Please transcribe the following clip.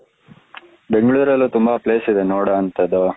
ಬೆಂಗಳೂರಲ್ಲೂ ತುಂಬಾ place ಇದೆ ನೋಡುವಂತದ್ದು